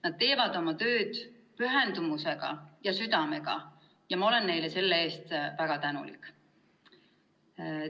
Nad teevad oma tööd pühendumusega, südamega, ja olen neile selle eest väga tänulik.